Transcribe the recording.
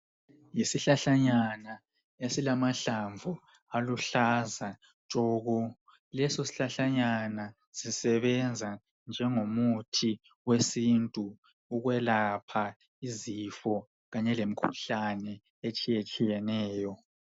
Yisihlahlanyana esilamahlamvu aluhlaza tshoko. Leso sihlahlanyana sisebenza njengomuthi wesintu ukwelapha izifo kanye lemkhuhlane etshiyatshiyeneyo.